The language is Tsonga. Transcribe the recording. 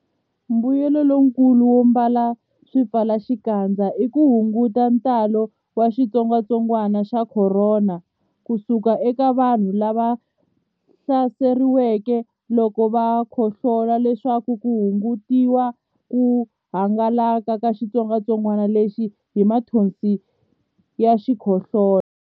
Mbuyelonkulu wo ambala swipfalaxikandza i ku hunguta ntalo wa xitsongwantsongwana xa Khorona ku suka eka vanhu lava hlaseriweke loko va khohlola leswaku ku hungutiwa ku hangalaka ka xitsongwantsongwanalexi hi mathonsi ya xikhohlola.